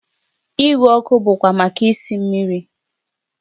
Igwe ọkụ bụkwa maka isi mmiri